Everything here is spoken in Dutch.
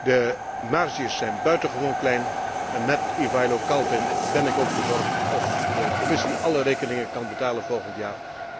De marges zijn buitengewoon klein en met Ivailo Kalfin ben ik ook bezorgd of de Commissie alle rekeningen kan betalen volgend jaar.